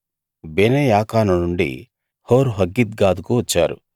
బెనేయాకాను నుండి హోర్‌హగ్గిద్గాదుకు వచ్చారు